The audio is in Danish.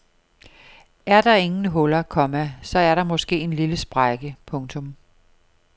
Er der ingen huller, komma så er der måske en lille sprække. punktum